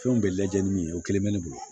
Fɛnw bɛɛ lajɛlen ni o kelen bɛ ne bolo